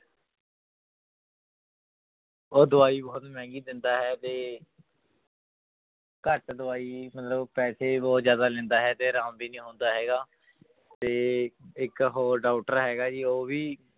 ਉਹ ਦਵਾਈ ਬਹੁਤ ਮਹਿੰਗੀ ਦਿੰਦਾ ਹੈ ਤੇ ਘੱਟ ਦਵਾਈ ਮਤਲਬ ਪੈਸੇ ਬਹੁਤ ਜ਼ਿਆਦਾ ਲੈਂਦਾ ਹੈ ਤੇ ਆਰਾਮ ਵੀ ਨੀ ਆਉਂਦਾ ਹੈਗਾ ਤੇ ਇੱਕ ਹੋਰ doctor ਹੈਗਾ ਜੀ ਉਹ ਵੀ